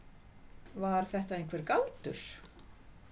Var þetta einhver galdur?